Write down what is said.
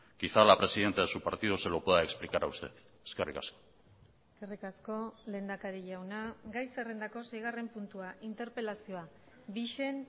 quizá la presidenta de su partido se lo pueda explicar a usted eskerrik asko eskerrik asko lehendakari jauna gai zerrendako seigarren puntua interpelazioa bixen